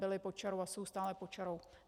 Byly pod čarou a jsou stále pod čarou.